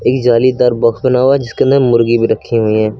कई जालीदार बॉक्स बना हुआ है जिसके अंदर मुर्गी भी रखी हुई है।